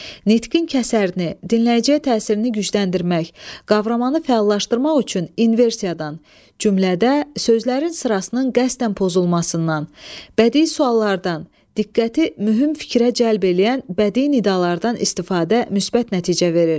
Nitqin kəsərini, dinləyiciyə təsirini gücləndirmək, qavramanı fəallaşdırmaq üçün inversiyadan, cümlədə sözlərin sırasının qəsdən pozulmasından, bədii suallardan, diqqəti mühüm fikrə cəlb eləyən bədii nidalardan istifadə müsbət nəticə verir.